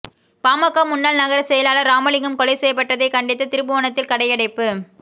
பாமக முன்னாள் நகர செயலாளர் ராமலிங்கம் கொலை செய்யப்பட்டதை கண்டித்து திருபுவனத்தில் கடையடைப்பு